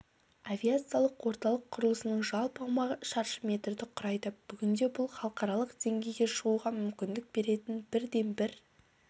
авиациялық орталық құрылысының жалпы аумағы шаршы метрді құрайды бүгінде бұл халықаралық деңгейге шығуға мүмкіндік беретін бірден-бір